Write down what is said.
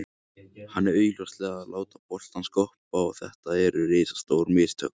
Hann er augljóslega að láta boltann skoppa og þetta eru risastór mistök.